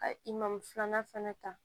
Ka i mamu filanan fɛnɛ ta